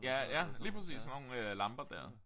Ja ja lige præcis sådan nogle lamper dér